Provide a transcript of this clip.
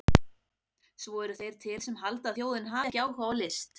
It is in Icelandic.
Svo eru þeir til sem halda að þjóðin hafi ekki áhuga á list!